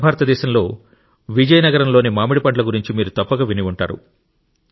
దక్షిణ భారతదేశంలో విజయనగరంలోని మామిడి పండ్ల గురించి మీరు తప్పక విని ఉంటారు